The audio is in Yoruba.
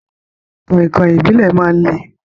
Kọ̀inkọ̀in Ìbílẹ̀ máa ń le.